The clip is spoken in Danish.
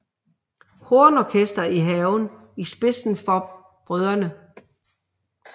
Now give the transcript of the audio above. Hornorkester i haven i spidsen for brødrene